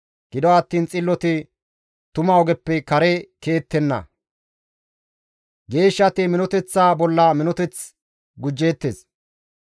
Gido attiin xilloti tuma ogeppe kare ke7ettenna; geeshshati minoteththa bolla minoteththi gujettees.